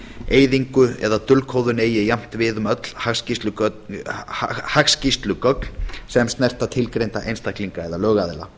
eyðingu eða dulkóðun eigi jafnt við um öll hagskýrslugögn sem snerta tilgreinda einstaklinga og lögaðila